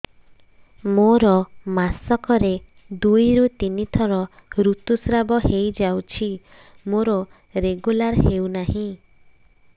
ମୋର ମାସ କ ରେ ଦୁଇ ରୁ ତିନି ଥର ଋତୁଶ୍ରାବ ହେଇଯାଉଛି ମୋର ରେଗୁଲାର ହେଉନାହିଁ